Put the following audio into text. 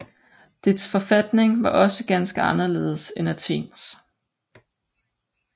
Dets forfatning var også ganske anderledes end Athens